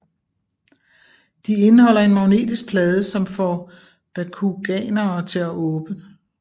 De indeholder en magnetisk plade som får Bakuganerne til at åbne